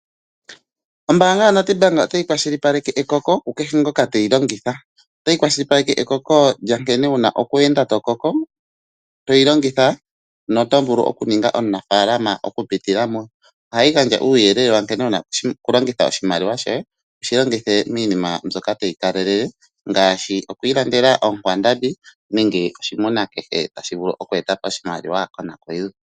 Ombanga yoNedbank otayi kwashilipaleke ekoko ku kehe ngoka teyi longitha. Otayi kwashilipaleke ekoko lya nkene wu na okwe enda tokoko toyi longitha noto vulu okuninga omunafalama oku pitila mo. Ohayi gandja uuyelele wa nkene wuna oku longitha oshimaliwa shoye wushi longithe miinima mbyoka tayi kalelele ngaashi okwi ilandela onkwandambi nenge oshimuna kehe tashi vulu oku eta po oshimaliwa konakuyiwa.